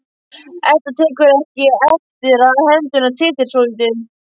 Edda tekur eftir að hendurnar titra svolítið.